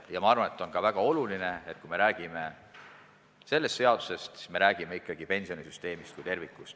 Ja ma arvan, et väga oluline on see, et kui räägime sellest seadusest, siis räägime ikkagi pensionisüsteemist tervikuna.